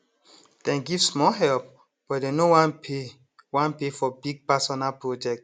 dem give small help but dem no wan pay wan pay for big personal project